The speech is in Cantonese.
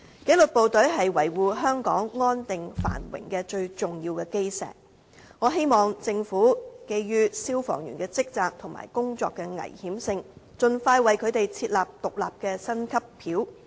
紀律部隊是維護香港安定繁榮的最重要基石，我希望政府基於消防員的職責和工作危險性，盡快為他們設立獨立的薪級表。